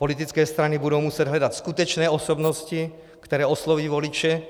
Politické strany budou muset hledat skutečné osobnosti, které osloví voliče